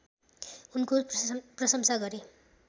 उनको प्रशंसा गरे